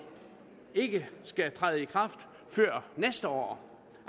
ikke skal træde i kraft før næste år